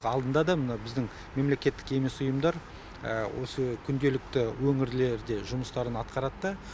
алдында да мына біздің мемлекеттік емес ұйымдар осы күнделікті өңірлерде жұмыстарын атқарады да